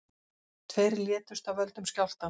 Tveir létust af völdum skjálftans